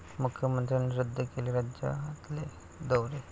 मुख्यमंत्र्यांनी रद्द केले राज्यातले दौरे